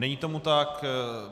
Není tomu tak.